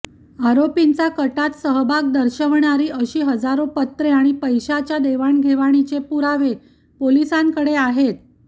आरोपींचा कटात सहभाग दर्शवणारी अशी हजारो पत्रे आणि पैशाच्या देवाणघेवाणीचे पुरावे पोलिसांकडे आहेत